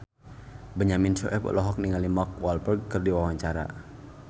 Benyamin Sueb olohok ningali Mark Walberg keur diwawancara